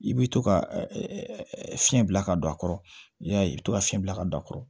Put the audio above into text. I bɛ to ka fiɲɛ bila ka don a kɔrɔ yali i bɛ to ka fiɲɛ bila ka don a kɔrɔ